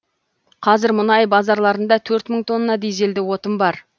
қазір мұнай базаларында төрт мың тонна дизельді отын бар